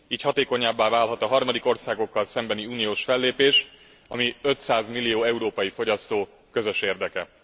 Így hatékonyabbá válhat a harmadik országokkal szembeni uniós fellépés, ami 500 millió európai fogyasztó közös érdeke.